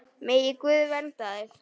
Megi Guð vernda þig.